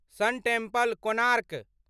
सन टेम्पल, कोणार्क